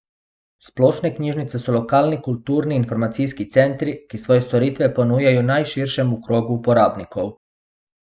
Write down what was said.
Splošne knjižnice so lokalni kulturni in informacijski centri, ki svoje storitve ponujajo najširšemu krogu uporabnikov.